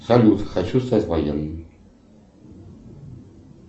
салют хочу стать военным